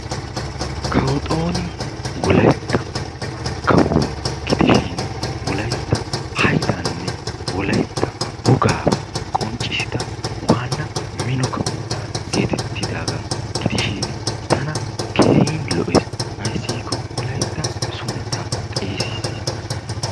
Kawo Xooni Wolaytta kawuwa gidishin, Wolaytta haydaanne wolaytta wogaa qonccissida waanna mino kawuwa geetettidaagaa gidishin, tana keehin lo'iis. Ayssi giikko wolaytta sunttaa xeesissiis.